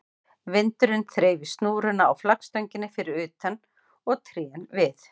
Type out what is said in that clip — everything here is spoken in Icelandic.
Vindurinn þreif í snúruna á flaggstönginni fyrir utan og trén við